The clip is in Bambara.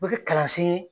U bɛ kɛ kalansen